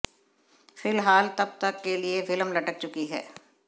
फिलहाल तब तक के लिए फिल्म लटक चुकी है